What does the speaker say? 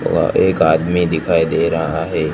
वहां एक आदमी दिखाई दे रहा है।